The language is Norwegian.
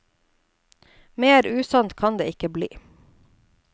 Mer usant kan det ikke bli.